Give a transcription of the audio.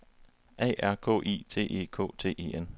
A R K I T E K T E N